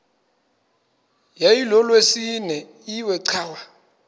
yayilolwesine iwe cawa